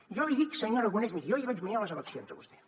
jo li dic senyor aragonès miri jo li vaig guanyar les eleccions a vostè